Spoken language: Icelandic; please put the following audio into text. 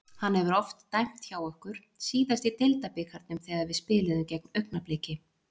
Hann hefur oft dæmt hjá okkur, síðast í deildabikarnum þegar við spiluðum gegn Augnabliki.